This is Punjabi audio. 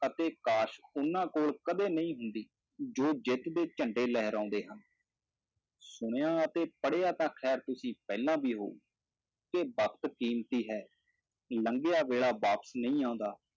ਅਤੇ ਕਾਸ਼ ਉਹਨਾਂ ਕੋਲ ਕਦੇ ਨਹੀਂ ਹੁੰਦੀ, ਜੋ ਜਿੱਤ ਦੇ ਝੰਡੇ ਲਹਿਰਾਉਂਦੇ ਹਨ ਸੁਣਿਆ ਅਤੇ ਪੜ੍ਹਿਆ ਤਾਂ ਖੈਰ ਤੁਸੀਂ ਪਹਿਲਾਂ ਵੀ ਹੋਊ, ਕਿ ਵਕਤ ਕੀਮਤੀ ਹੈ, ਲੰਘਿਆ ਵੇਲਾ ਵਾਪਸ ਨਹੀਂ ਆਉਂਦਾ।